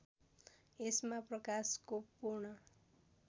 यसमा प्रकाशको पूर्ण